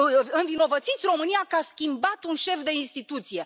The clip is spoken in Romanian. Învinovățiți România că a schimbat un șef de instituție.